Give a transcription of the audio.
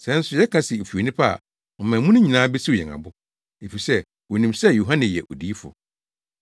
Sɛ nso yɛka se efi onipa a, ɔman mu no nyinaa besiw yɛn abo, efisɛ wonim sɛ Yohane yɛ odiyifo.”